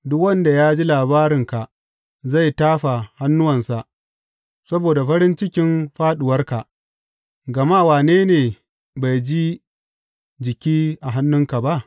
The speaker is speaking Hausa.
Duk wanda ya ji labarinka zai tafa hannuwansa saboda farin cikin fāɗuwarka, gama wane ne bai ji jiki a hannunka ba?